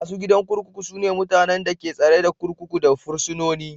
Masu gadin kurkuku su ne mutanen da ke tsare kurkuku da fursunoni.